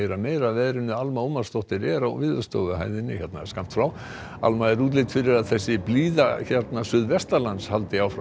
meira af veðri Alma Ómarsdóttir er á Veðurstofuhæð Alma er útlit fyrir að þessi blíða hér suðvestanlands haldi áfram